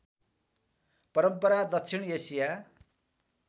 परम्परा दक्षिण एसिया